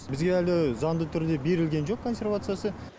бізге әлі заңды түрде берілген жоқ консервациясы